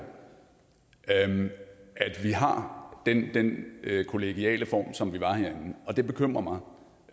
at vi har den kollegiale form som vi har herinde og det bekymrer